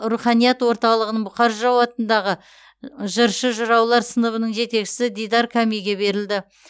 руханият орталығының бұқар жырау атындағы жыршы жыраулар сыныбының жетекшісі дидар кәмиге берілді